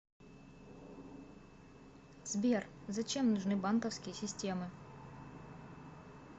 сбер зачем нужны банковские системы